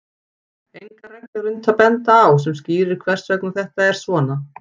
Enga reglu er unnt að benda á sem skýrir hvers vegna þetta er svona.